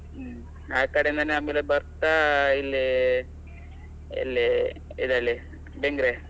ಹ್ಮ್, ಆಕಡೆ ಆಮೇಲೆ ಬರ್ತಾ ಇಲ್ಲಿ ಎಲ್ಲಿ ಇದೆಲ್ಲಿ ಬೆಂಗ್ರೆ.